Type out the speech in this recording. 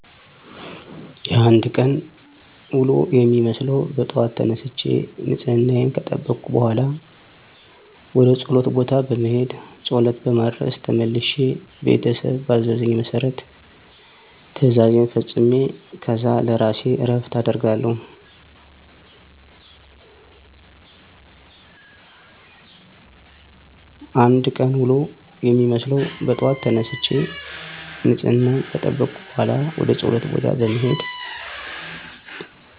የአንድ ቀን ውሎ የሚመስለው በጠዋት ተነስቸ ንፅህናየን ከጠበኩ በኋላ ወደ ፆለት ቦታ በመሄድ ፆለት በማድረስ ተመልሸ ቤተሰብ ባዘዘኝ መሰረት ትእዛዜን ፈፅሜ ከዛ ለእራሴ እረፍት አደርጋለው።